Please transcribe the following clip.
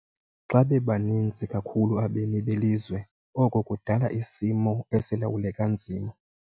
Xa bebaninzi kakhulu abemi belizwe oko kudala isimo esilawuleka nzima.